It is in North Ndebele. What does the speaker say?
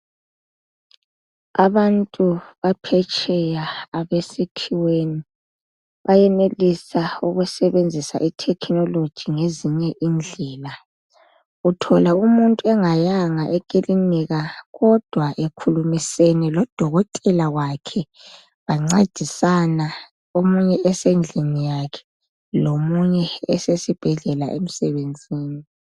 Abantu baphetsheya abesikhiweni bayenelisa ukusebenzisa ithekhinoloji ngezinye indlela. Uthola umuntu engayanga ekiliniki kodwa ekhulumisene lodokotela wakhe bancedisana, omunye esendlini yakhe omunye esibhedlela emsebenzini.